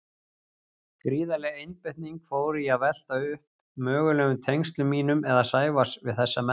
Gríðarleg einbeiting fór í að velta upp mögulegum tengslum mínum eða Sævars við þessa menn.